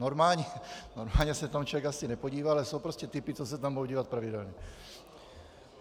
Normálně se tam člověk asi nepodívá, ale jsou prostě typy, co se tam budou dívat pravidelně.